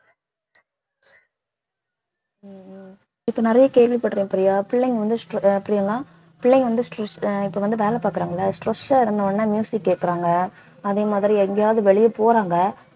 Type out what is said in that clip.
உம் உம் இப்ப நிறைய கேள்விப்படுறேன் பிரியா பிள்ளைங்க வந்து str~ அஹ் பிரியங்கா பிள்ளைங்க வந்து stress இப்ப வந்து வேலை பாக்குறாங்கல்ல stress ஆ இருந்தவுடனே கேட்குறாங்க அதே மாதிரி எங்கயாவது வெளிய போறாங்க